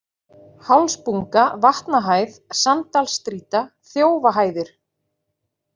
Hálsbunga, Vatnahæð, Sanddalsstrýta, Þjófahæðir